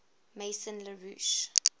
maison la roche